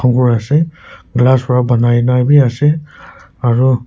ghor ase glass para banai na bhi ase aru--